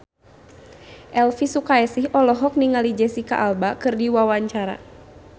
Elvy Sukaesih olohok ningali Jesicca Alba keur diwawancara